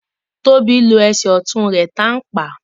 Tóbi ló Ẹsẹ̀ ọtún rè tán pá